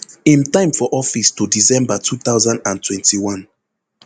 im time for office to december two thousand and twenty-one